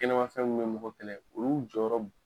Kɛnɛmafɛn minnu bɛ mɔgɔ kɛlɛ olu jɔyɔrɔ